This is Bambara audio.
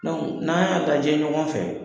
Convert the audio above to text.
n'aa y'a lajɛ ɲɔgɔn fɛ